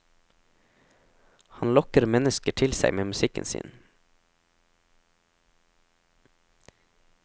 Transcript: Han lokker mennesker til seg med musikken sin.